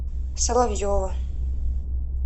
соловьева